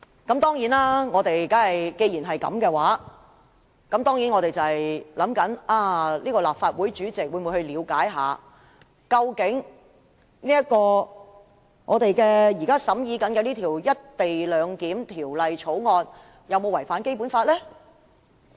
既然如此，我們在想，立法會主席會否了解我們現時審議的《廣深港高鐵條例草案》究竟有沒有違反《基本法》？